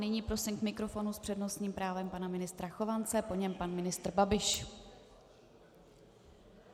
Nyní prosím k mikrofonu s přednostním právem pana ministra Chovance, po něm pan ministr Babiš.